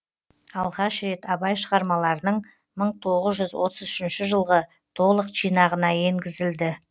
алғаш рет абай шығармаларының мың тоғыз жүз отыз үшінші жылғы толық жинағына енгізілді